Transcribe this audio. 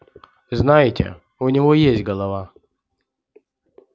знаете у него есть голова